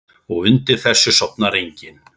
Og undir þessu sofnar enginn.